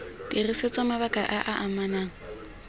dirisetswa mabaka a a amanang